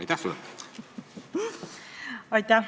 Aitäh!